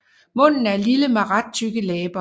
Munden er lille med ret tykke læber